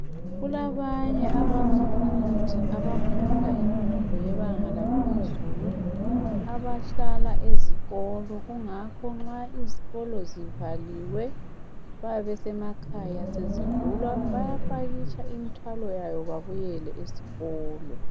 kulabanye abafundi aba´funda imfundo yebanga laphezulu abahlala ezikolo ngakho izikolo nxa zivaliwe babesemakhaya sezivulwa bayapakitsha imthwalo yabo babuyele esikolo